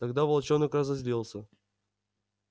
тогда волчонок разозлился